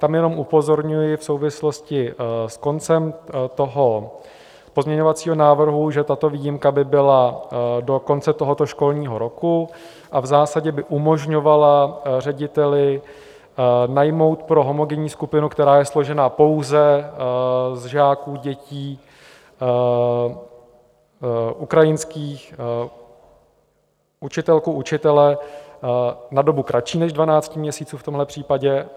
Tam jenom upozorňuji v souvislosti s koncem toho pozměňovacího návrhu, že tato výjimka by byla do konce tohoto školního roku a v zásadě by umožňovala řediteli najmout pro homogenní skupinu, která je složena pouze z žáků - dětí ukrajinských, učitelku, učitele na dobu kratší než 12 měsíců v tomhle případě.